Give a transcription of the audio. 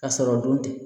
Ka sɔrɔ o don tɛ